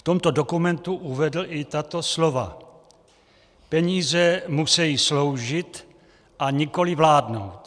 V tomto dokumentu uvedl i tato slova: "Peníze musejí sloužit a nikoliv vládnout."